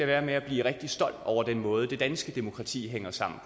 være med at blive rigtig stolt over den måde det danske demokrati hænger sammen